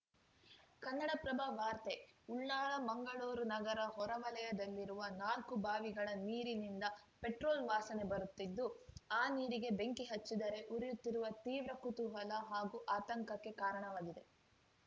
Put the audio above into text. ಕನ್ನಡಪ್ರಭ ವಾರ್ತೆ ಉಳ್ಳಾಲ ಮಂಗಳೂರು ನಗರದ ಹೊರವಲಯದಲ್ಲಿರುವ ನಾಲ್ಕು ಬಾವಿಗಳ ನೀರಿನಿಂದ ಪೆಟ್ರೋಲ್‌ ವಾಸನೆ ಬರುತ್ತಿದ್ದು ಆ ನೀರಿಗೆ ಬೆಂಕಿ ಹಚ್ಚಿದರೆ ಉರಿಯುತ್ತಿರುವ ತೀವ್ರ ಕುತೂಹಲ ಹಾಗೂ ಆತಂಕಕ್ಕೆ ಕಾರಣವಾಗಿದೆ